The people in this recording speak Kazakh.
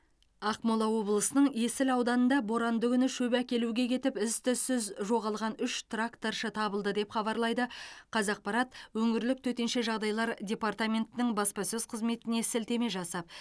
ақмола облысының есіл ауданында боранды күні шөп әкелуге кетіп із түзсіз жоғалған үш тракторшы табылды деп хабарлайды қазақпарат өңірлік төтенше жағдайлар департаментінің баспасөз қызметіне сілтеме жасап